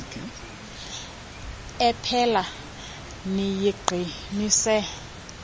ephela niyiqi nise